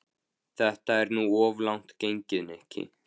Þetta er nú of langt gengið, Nikki.